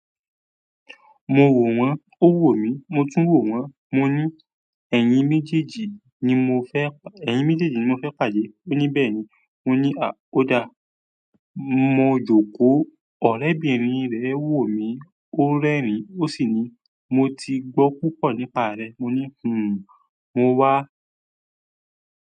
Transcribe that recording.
Mo wò wọ́n ó wò mí, mo tún wò wọ́n, mo ní ẹ̀yin méjèèjì ni mo fẹ́ pàdé. Ó ní, "Bẹ́ẹ̀ ni." Mo ní, à, oló da. Mo jókòó, ọ̀rẹ́bìnrin rẹ̀ wò mí, ó rẹ́rìn-ín, ó sì ní, "Mo ti gbọ́ púpọ̀ nípa rẹ." Mo ní, "Hmmm, mo wá."